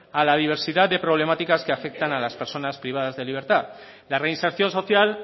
a la diversidad de problemáticas que afectan a las personas privadas de libertad la reinserción social